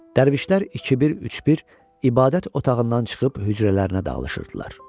Dərvişlər iki-bir, üç-bir ibadət otağından çıxıb hücrələrinə dalaşırdılar.